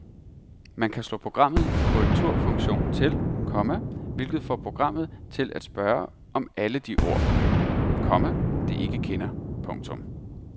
Man kan slå programmet korrekturfunktion til, komma hvilket får programmet til at spørge om alle de ord, komma det ikke kender. punktum